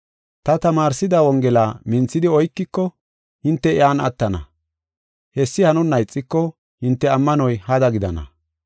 Ta tamaarsida wongela minthidi oykiko hinte iyan attana. Hessi hanonna ixiko hinte ammanoy hada gidana.